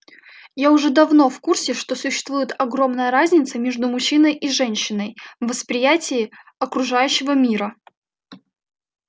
я уже давно в курсе что существует огромная разница между мужчиной и женщиной в восприятии окружающего мира